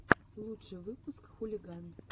лучший выпуск хулиган